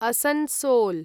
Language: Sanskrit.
असन्सोल्